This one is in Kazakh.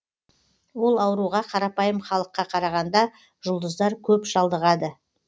ол ауруға қарапайым халыққа қарағанда жұлдыздар көп шалдығады